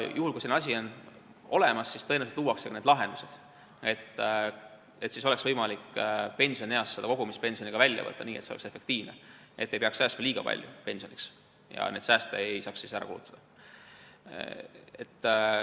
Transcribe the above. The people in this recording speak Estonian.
Juhul, kui selline asi on olemas, siis tõenäoliselt luuakse ka need lahendused, et pensionieas oleks võimalik kogutud pension välja võtta nii, et see oleks efektiivne ja et ei peaks säästma liiga palju ja et neid sääste ei saaks ära kulutada.